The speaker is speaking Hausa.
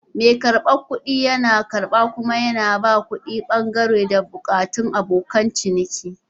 Mai karbar kuɗi yana karba kuma yana ba da kuɗi, dangane da buƙatun abokan ciniki.